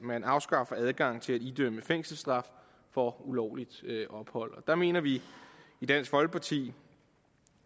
man afskaffer adgangen til at idømme fængselsstraf for ulovligt ophold der mener vi i dansk folkeparti